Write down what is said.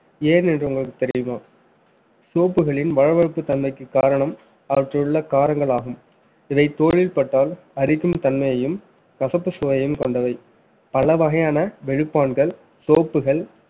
ஏனென்று உங்களுக்குத் தெரியுமா soap களின் வளவளப்பு தன்மைக்கு காரணம் அவற்றில் உள்ள காரங்கள் ஆகும இவை தோளில் பட்டால் அரிக்கும் தன்மையையும் கசப்பு சுவையும் கொண்டவை பல வகையான வெளுப்பான்கள் soap கள்